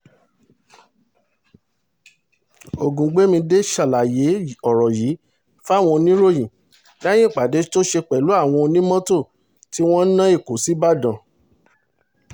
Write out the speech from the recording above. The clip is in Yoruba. ògúngbẹ̀mídé ṣàlàyé ọ̀rọ̀ yìí fáwọn oníròyìn lẹ́yìn ìpàdé tó ṣe pẹ̀lú àwọn onímọ́tò tí wọ́n ń ná èkó sí ìbàdàn